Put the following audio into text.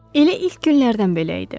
Elə ilk günlərdən belə idi.